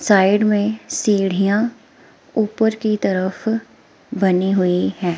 Side में सीढ़ियां ऊपर की तरफ बनी हुई हैं।